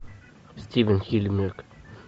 стивен хильмерг